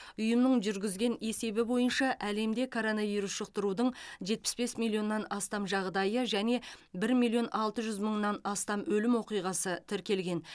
ұйымның жүргізген есебі бойынша әлемде коронавирус жұқтырудың жетпіс бес миллионнан астам жағдайы және бір миллион алты жүз мыңнан астам өлім оқиғасы тіркелген